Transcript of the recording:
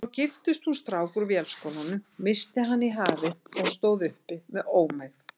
Svo giftist hún strák úr Vélskólanum, missti hann í hafið og stóð uppi með ómegð.